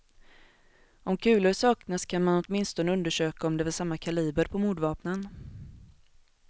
Om kulor saknas kan man åtminstone undersöka om det var samma kaliber på mordvapnen.